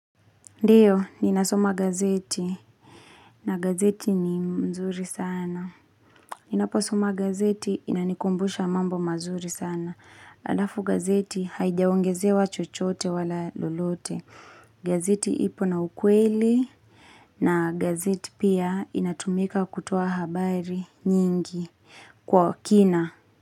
Ndio, ninasoma gazeti. Na gazeti ni mzuri sana. Ninaposoma gazeti, inanikumbusha mambo mazuri sana. Alafu gazeti haijaongezewa chochote wala lolote. Gazeti ipo na ukweli. Na gazeti pia inatumika kutoa habari nyingi kwa kina.